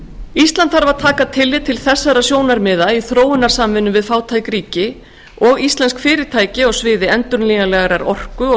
ísland þarf að taka tillit til þessar sjónarmiða í þróunarsamvinnu við fátæk ríki og íslensk fyrirtæki á sviði endurnýjanlegrar orku og